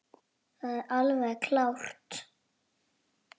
Það er alveg klárt.